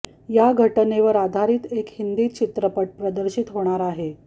या घटनेवर आधारीत एक हिंदी चित्रपट प्रदर्शित होणार आहे